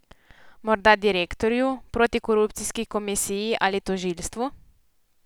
Morda direktorju, protikorupcijski komisiji ali tožilstvu?